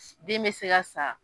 Den bɛ se ka sa